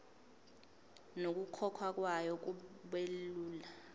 nokukhokhwa kwayo kubelula